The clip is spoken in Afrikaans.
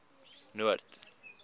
noord